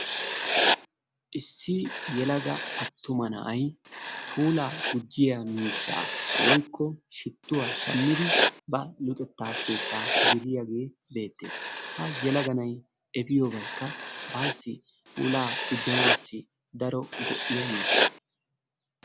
Issi yelaga attuma na'aay puulaa gujjiyaa miishshaa woykko shituwa shammidi ba luxetta keettaa geliyagee beetees. ha yelaga na'aay efiyobaykka baasi puulaa gujjanassi daro go'iyaa miiishsha.